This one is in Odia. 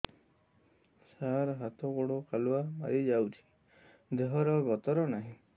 ସାର ହାତ ଗୋଡ଼ କାଲୁଆ ମାରି ଯାଉଛି ଦେହର ଗତର ନାହିଁ